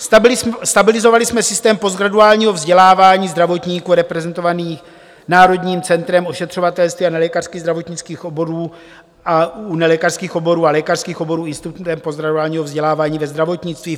Stabilizovali jsme systém postgraduálního vzdělávání zdravotníků, reprezentovaný Národním centrem ošetřovatelství a nelékařských zdravotnických oborů a u nelékařských oborů a lékařských oborů Institutem postgraduálního vzdělávání ve zdravotnictví.